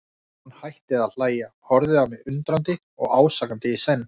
Hann hætti að hlæja, horfði á mig undrandi og ásakandi í senn.